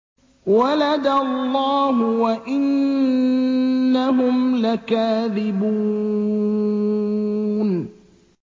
وَلَدَ اللَّهُ وَإِنَّهُمْ لَكَاذِبُونَ